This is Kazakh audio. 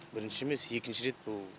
бірінші емес екінші рет бұл